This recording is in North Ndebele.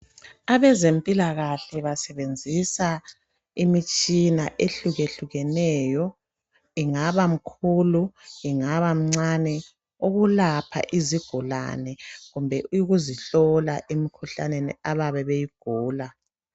Abezimpilakahle basebenzisa imitshina ehlukahlukeneyo ingaba mikhulu ingaba mincane ukulapha izigulane kumbe ukuzihlola emikhuhlaneni abayabe beyigola.